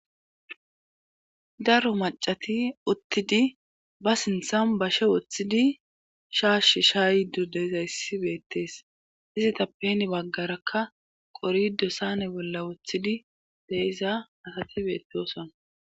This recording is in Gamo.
daro macati uttidi ba sinthan bashe woththidi shaashsh sha ydu deezayssi beettees izitappeni baggarakka qorido sane bolla woththidi deiza asati beeteoson